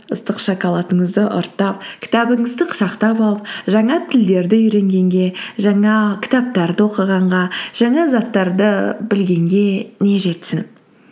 ыстық шоколадыңызды ұрттап кітабыңызды құшақтап алып жаңа тілдерді үйренгенге жаңа кітаптарды оқығанға жаңа заттарды білгенге не жетсін